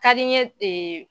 Ka di n ye